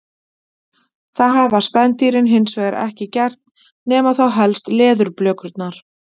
það hafa spendýrin hins vegar ekki gert nema þá helst leðurblökurnar